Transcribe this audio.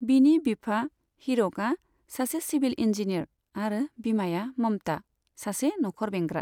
बिनि बिफा, हीरकआ सासे सिभिल इन्जीनियार आरो बिमाया ममता, सासे नखर बेंग्रा।